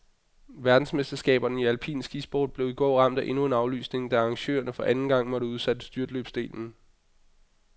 Verdensmesterskaberne i alpin skisport blev i går ramt af endnu en aflysning, da arrangørerne for anden gang måtte udsætte styrtløbsdelen.